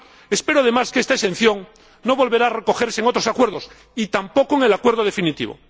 Espero, además, que esta exención no vuelva a recogerse en otros acuerdos, y tampoco en el acuerdo definitivo.